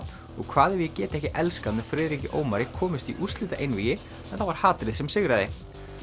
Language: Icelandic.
og hvað ef ég get ekki elskað með Friðriki Ómari komust í úrslitaeinvígi en það var hatrið sem sigraði